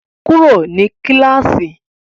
Kúrò ní kíláàsì!